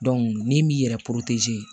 ni m'i yɛrɛ